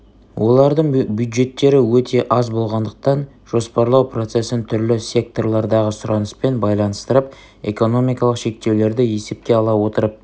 олардың бюджеттері өте аз болғандықтан жоспарлау процесін түрлі секторлардағы сұраныспен байланыстырып экономикалық шектеулерді есепке ала отырып